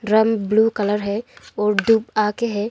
Drum blue colour है और दो आके है।